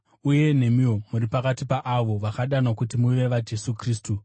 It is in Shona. Uye nemiwo muri pakati paavo vakadanwa kuti muve vaJesu Kristu.